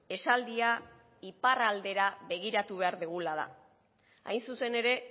esaldia iparraldera begiratu behar dugula da hain zuzen ere